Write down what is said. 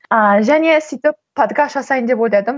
ааа және сөйтіп подкаст жасайын деп ойладым